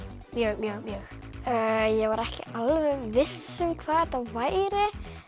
mjög mjög mjög ég var ekki alveg viss um hvað þetta væri